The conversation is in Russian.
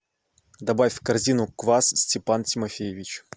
добавь в корзину квас степан тимофеевич